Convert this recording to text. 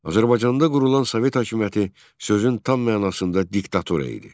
Azərbaycanda qurulan Sovet hakimiyyəti sözün tam mənasında diktatura idi.